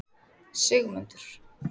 Sigmundur